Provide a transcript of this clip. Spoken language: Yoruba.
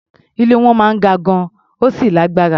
Ilé wọn máa ń ga gan-an, ó sì lágbára.